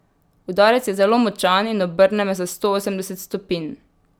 Udarec je zelo močan in obrne me za stoosemdeset stopinj.